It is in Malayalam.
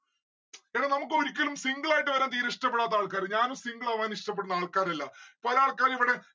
എടാ നമുക്കൊരിക്കലും single ആയിട്ട് വരാൻ തീരെ ഇഷ്ടപ്പെടാത്ത ആൾക്കാര് ഞാനും single ആവാൻ ഇഷ്ടപ്പെടുന്ന ആൾക്കാരല്ല. പല ആൾക്കാരും ഇവിടെ